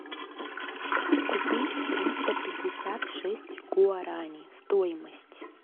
купить триста пятьдесят шесть гуарани стоимость